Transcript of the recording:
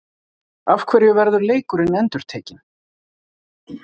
Af hverju verður leikurinn endurtekinn?